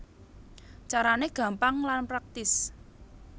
Carané gampang lan praktis